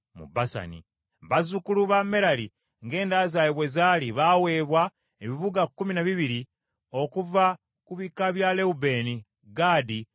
Bazzukulu ba Merali ng’enda zaabwe bwe zaali, baaweebwa ebibuga kkumi na bibiri okuva ku bika bya Lewubeeni, Gaadi ne Zebbulooni.